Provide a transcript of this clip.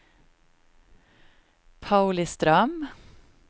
Pauliström